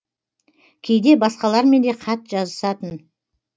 кейде басқалармен де хат жазысатын